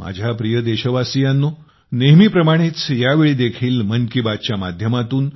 माझ्या प्रिय देशवासियांनो नेहमीप्रमाणेच या वेळी देखील मन की बातच्या माध्यमातून